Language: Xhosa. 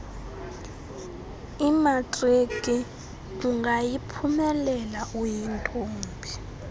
imatriki angayiphumeleli uyintombi